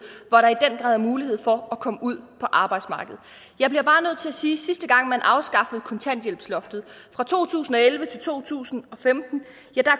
hvor der i den grad er mulighed for at komme ud på arbejdsmarkedet jeg bliver bare nødt til at sige at sidste gang man afskaffede kontanthjælpsloftet fra to tusind og elleve til to tusind og femten